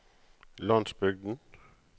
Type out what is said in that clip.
landsbygden